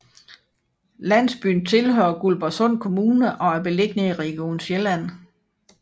Landsbyen tilhører Guldborgsund Kommune og er beliggende i Region Sjælland